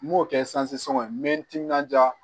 N m'o kɛ sanzan n be n timinanja